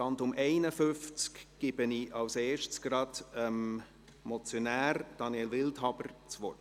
Zum Traktandum 51 gebe ich zuerst gleich dem Motionär, Daniel Wildhaber, das Wort.